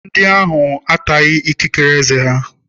Ndị ahụ ataghị ikikere ezé.